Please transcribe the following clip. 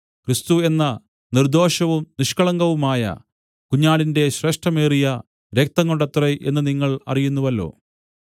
ക്രിസ്തു എന്ന നിർദ്ദോഷവും നിഷ്കളങ്കവുമായ കുഞ്ഞാടിന്റെ ശ്രേഷ്ഠമേറിയ രക്തംകൊണ്ടത്രേ എന്ന് നിങ്ങൾ അറിയുന്നുവല്ലോ